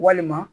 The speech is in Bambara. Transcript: Walima